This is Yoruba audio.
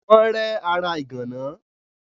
Wọ́n rẹ́ ara ìgànná.